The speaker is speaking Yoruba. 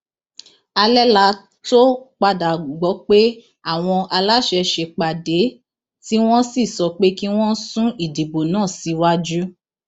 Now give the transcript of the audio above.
alẹ la tóó padà gbọ pé àwọn aláṣẹ ṣèpàdé tí wọn sì sọ pé kí wọn sún ìdìbò náà síwájú